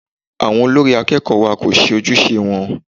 Àwọn olórí akẹ́kọ̀ọ́ wa kò ṣe ojúṣe wọn.